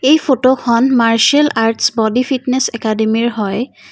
এই ফটো খন martial arts body fitness একাডেমীৰ হয়।